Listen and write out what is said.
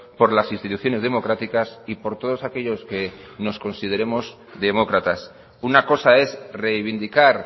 por las instituciones democráticas y por todos aquellos que nos consideremos demócratas una cosa es reivindicar